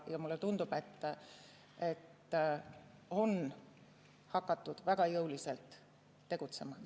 Mulle tundub, et on hakatud väga jõuliselt tegutsema.